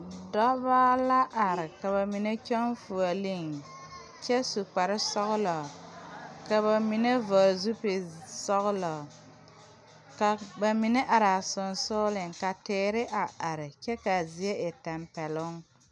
Dɔbɔ la are ka ba mine kyɔŋ fuoleeŋ kyɛ su kparesɔglɔ ka ba mine vɔgle zipilsɔglɔ ka ba mine araa seŋsugliŋ ka teere a are kyɛ kaa zie e tampɛloŋ.